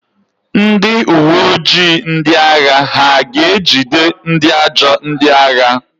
Ndị uwe ojii ndị agha ha ga-ejide ndị ajọ ndị agha?